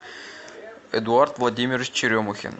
эдуард владимирович черемухин